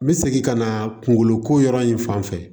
N bɛ segin ka na kunkolo ko yɔrɔ in fan fɛ